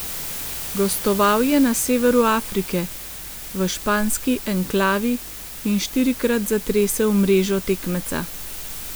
Gostoval je na severu Afrike, v španski enklavi, in štirikrat zatresel mrežo tekmeca.